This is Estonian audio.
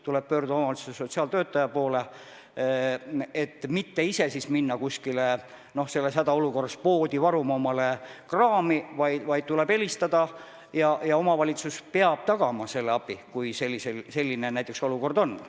Tuleb pöörduda omavalitsuse sotsiaaltöötaja poole, mitte ise minna selles hädaolukorras poodi omale kraami varuma, vaid tuleb helistada ja omavalitsus peab tagama selle abi, kui selline olukord on.